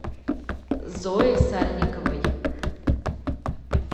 зое сальниковой